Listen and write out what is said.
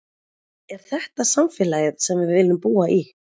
Er þetta samfélagið sem við viljum búa í?